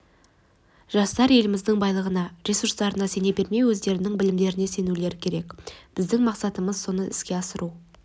жастар еліміздің байлығына ресурстарына сене бермей өздерінің білімдеріне сенулері керек біздің мақсатымыз соны іске асыру